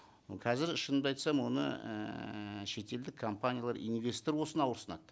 қазір шынымды айтсам оны ііі шетелдік компаниялар инвестор болсын ауырсынады